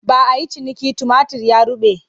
Ba a yi ciniki tumatir ya ruɓe.